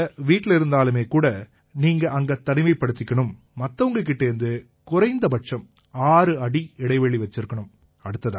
நீங்க வீட்டில இருந்தாலுமேகூட நீங்க அங்க தனிமைப்படுத்திக்கணும் மத்தவங்க கிட்டேர்ந்து குறைஞ்சபட்சம் 6 அடி இடைவெளி வச்சிருக்கணும்